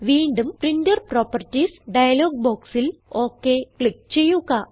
വീണ്ടും printer properties dialog ബോക്സിൽ okay click ചെയ്യുക